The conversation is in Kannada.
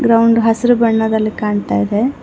ಗ್ರೌಂಡ್ ಹಸಿರು ಬಣ್ಣದಲ್ಲಿ ಕಾಣ್ತಾ ಇದೆ.